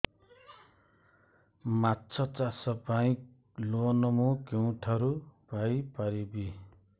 ମାଛ ଚାଷ ପାଇଁ ଲୋନ୍ ମୁଁ କେଉଁଠାରୁ ପାଇପାରିବି